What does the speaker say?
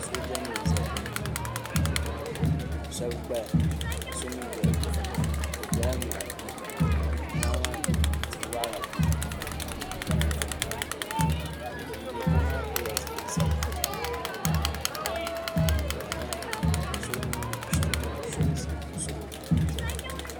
sooja nim n ʒɛya ka shab gbaya ka shab mii doya bi biɛla moɣani moɣa maa ni tia waɣala biɛni ka naan chɛ mori ŋun do tiŋ maa pilila zipili sabinli ka ban gbaya maa mii so niŋ nusuri piɛla